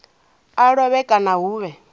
a lovhe kana hu vhe